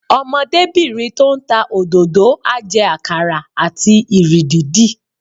Ọmọdébìnrin tó ń ta òdòdó á jẹ àkàrà àti ìrì dídì